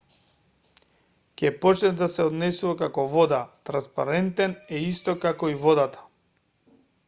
ќе почне да се однесува како вода транспарентен е исто како и водата